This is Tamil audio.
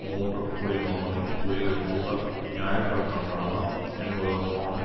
மூன்று குடிமகளின் உயிரிழப்புகள் நியாயப்படுத்தப்படலாம் என்பதற்கான